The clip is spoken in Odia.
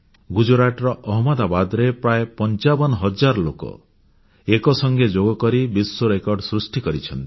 ଗୁଜରାଟର ଅହମ୍ମଦାବାଦରେ ପ୍ରାୟ 55000 ଲୋକ ଏକ ସଙ୍ଗେ ଯୋଗ କରି ବିଶ୍ୱରେକର୍ଡ଼ ସୃଷ୍ଟି କରିଛନ୍ତି